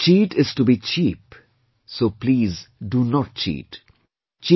'To cheat is to be cheap, so please do not cheat'